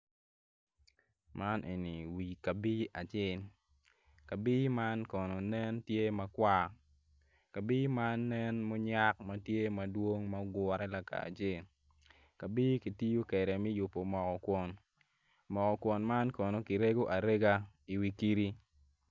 Man en wi kabi acel kabi man kono nen tye makwar kabi man nen munyak ma tye madwong ma oguru laka acel kabi ki tiyo kede mi yubu mogo kwon mogo kwon man kono kirego arega i wi kidi